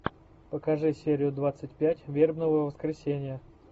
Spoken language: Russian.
покажи серию двадцать пять вербного воскресенья